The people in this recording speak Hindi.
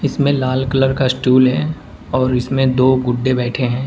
इसमें लाल कलर का स्टूल है और इसमें दो गुड्डे बैठे हैं।